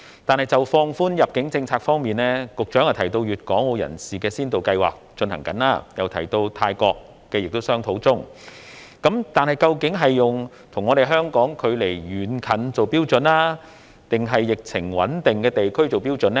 但是，就放寬入境政策方面，局長提到粵港澳人士的先導計劃正在進行，亦提到與泰國也在商討中，但是，究竟是用與香港距離遠近為標準，還是疫情穩定的地區為標準呢？